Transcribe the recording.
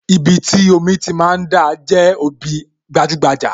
Ibi tí omi ti máa ń dà, jẹ́ ibi gbajúgbajà